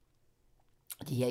DR1